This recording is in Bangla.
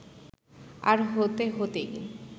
আর হতে হতেই